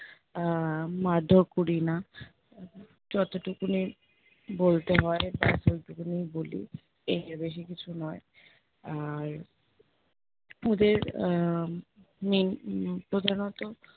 আহ মারধোর করি না। যতটুকুনি বলতে হয় ব্যাস ওইটুকুনিই বলি। এর বেশি কিছু নয় আর ওদের আহ main প্রধানত